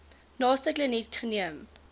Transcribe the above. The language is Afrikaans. naaste kliniek geneem